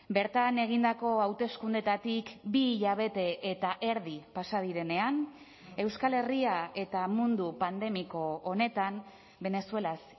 bertan egindako hauteskundeetatik bi hilabete eta erdi pasa direnean euskal herria eta mundu pandemiko honetan venezuelaz